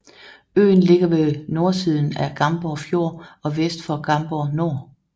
Øen ligger ved nordsiden af Gamborg Fjord og vest for Gamborg Nor